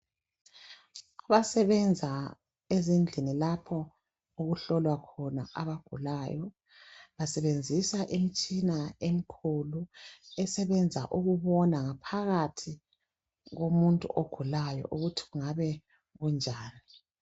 Abasebenza ezindlini lapho okuhlolwa khona abagulayo, basebenzisa imtshina emkhulu, esebenza ukubona ngaphakathi komuntu ogulayo ukuthi kungabe kunjani.